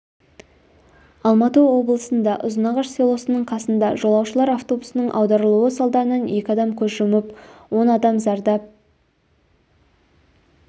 алматы облысында ұзынғаш селосының қасында жолаушылар автобусының аударылуы салдарынан екі адам көз жұмып он адам зардап